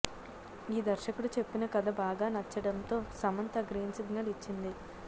ఈ దర్శకుడు చెప్పిన కథ బాగా నచ్చడంతో సమంత గ్రీన్సిగ్నల్ ఇచ్చింది